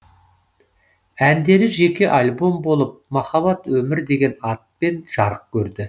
әндері жеке альбом болып махаббат өмір деген атпен жарық көрді